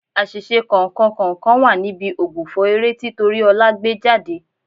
Àṣìṣe kọ̀ọ̀kan kọ̀ọ̀kan wà níbi ògbufọ̀ eré tí Tóríọlá gbé jáde.